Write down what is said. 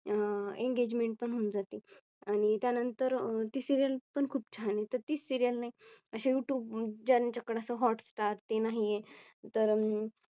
अह Engagement पण होऊन जाते आणि त्यानंतर अह ती Serial पण खूप छान आहे तर ती Serial नाही असे Youtube ज्यांच्याकडे असं Hot star ते नाहीये. तर अं